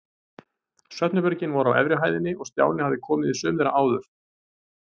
Svefnherbergin voru á efri hæðinni og Stjáni hafði komið í sum þeirra áður.